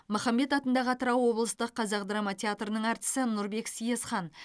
махамбет атындағы атырау облыстық қазақ драма театрының әртісі нұрбек съезхан